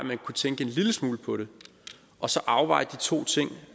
kunne tænke en lille smule på det og så afveje de to ting